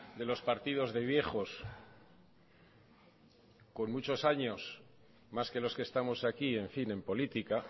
de los partidos de viejos con muchos años más que los que estamos aquí en fin en política